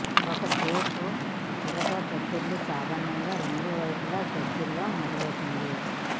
ఒక జొక్ దురద దద్దురు సాధారణంగా రెండు వైపులా గజ్జలలో మొదలవుతుంది